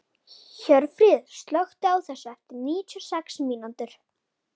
Hjörfríður, slökktu á þessu eftir níutíu og sex mínútur.